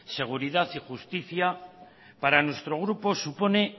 seguridad y justicia para nuestro grupo supone